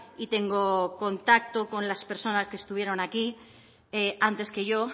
y tengo contacto con las personas que estuvieron aquí antes que yo